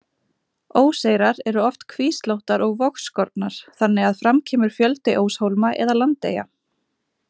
Óseyrar eru oft kvíslóttar og vogskornar, þannig að fram kemur fjöldi óshólma eða landeyja.